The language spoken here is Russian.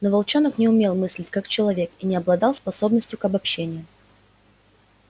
но волчонок не умел мыслить как человек и не обладал способностью к обобщениям